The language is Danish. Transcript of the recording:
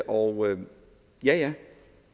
og ja